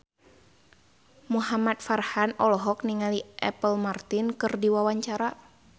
Muhamad Farhan olohok ningali Apple Martin keur diwawancara